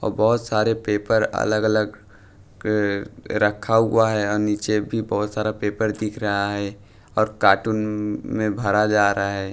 और बहोत सारे पेपर अलग अलग रखा हुआ है नीचे भी बहुत सारा पेपर दिख रहा है और कार्टून में भरा जा रहा है।